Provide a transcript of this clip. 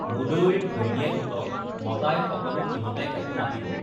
মুদৈৰ ঘৈণীয়েকহঁতক মতাই সকলো সিহঁতে একো মাতিব